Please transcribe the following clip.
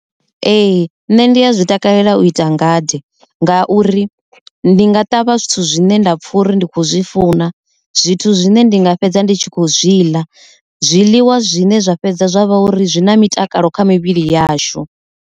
Ee, nṋe ndi ya zwi takalela u ita ngade ngauri ndi nga ṱavha zwithu zwine nda pfha uri ndi khou zwi funa zwithu zwine ndi nga fhedza ndi tshi khou zwi ḽa zwiḽiwa zwine zwa fhedza zwavha uri zwi na mitakalo kha mivhili yashu.